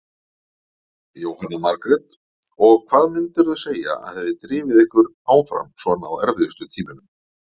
Jóhanna Margrét: Og hvað myndirðu segja að hafi drifið ykkur áfram svona á erfiðustu tímunum?